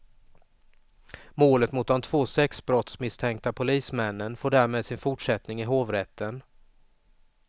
Målet mot de två sexbrottsmisstänkta polismännen får därmed sin fortsättning i hovrätten.